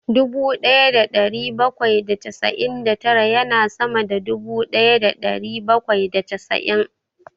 Dubu ɗaya da ɗari bakwai da casa'in da tara ya na sama da dubu ɗaya da ɗari bakwai da casa'in